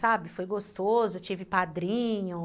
Sabe, foi gostoso, eu tive padrinho.